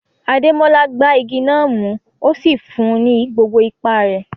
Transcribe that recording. Ademola gbá igi náà mú, ó sì fún un ní gbogbo ipá rẹ̀.